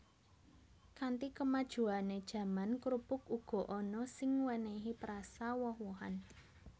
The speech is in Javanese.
Kanthi kemajuané jaman krupuk uga ana sing wènèhi perasa woh wohan